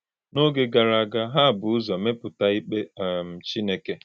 N’oge gara aga, ha bu ụzọ mepụta ikpe um Chineke.